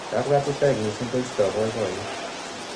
kapwatutaet missing koistoi poipoiyet